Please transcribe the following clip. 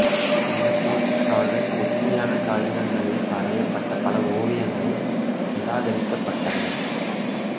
அந்தப் போட்டிக்காக கெட்டியான காகிதங்களில் வரையப் பட்ட பல ஓவியங்கள் நிராகரிக்கப் பட்டன